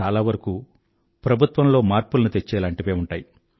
చాలావరకూ ప్రభుత్వంలో మార్పుల్ని తెచ్చేలాంటివే ఉంటాయి